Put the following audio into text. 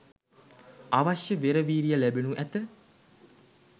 අවශ්‍ය වෙර වීරිය ලැබෙනු ඇත.